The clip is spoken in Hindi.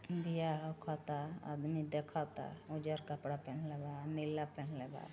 दिया रख ता आदमी देखता उजर कपड़ा पहनले बा नीला पहनले बा।